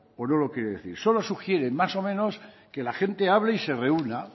o no lo quiere decir solo sugiere más o menos que la gente hable y se reúna